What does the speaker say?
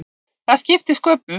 Það skipti sköpum.